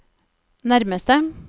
nærmeste